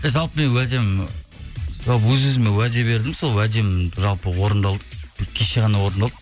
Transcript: жалпы мен уәдем өз өзіме уәде бердім сол уәдем жалпы орындалды кеше ғана орындалды